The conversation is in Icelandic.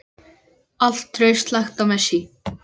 Allt traust lagt á Messi.